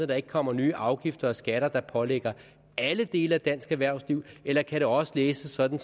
der ikke kommer nye afgifter og skatter der pålægges alle dele af dansk erhvervsliv eller kan det også læses sådan